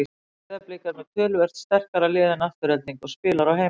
Breiðablik er með töluvert sterkara lið en Afturelding og spilar á heimavelli.